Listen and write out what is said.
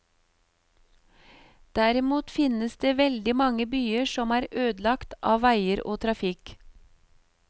Derimot finnes det veldig mange byer som er ødelagt av veier og trafikk.